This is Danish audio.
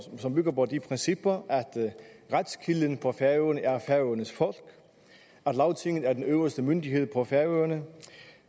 som bygger på de principper at retskilden på færøerne er færøernes folk at lagtinget er den øverste myndighed på færøerne